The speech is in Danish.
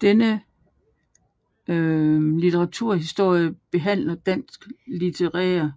Denne litteraturhistorie behandler danske litterære